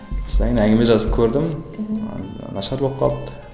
содан кейін әңгіме жазып көрдім мхм ы нашар болып қалды